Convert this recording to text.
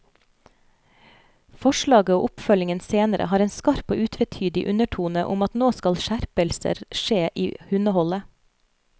Forslaget og oppfølgingen senere har en skarp og utvetydig undertone om at nå skal skjerpelser skje i hundeholdet.